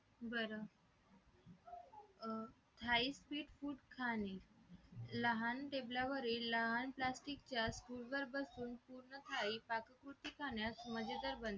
बरं अं Thai speed food खाणे लहान टेबलावरील लहान plastik च्या स्टूलवर बसून पूर्ण स्थायी speed food पाककृती खाणे मजेदार बनते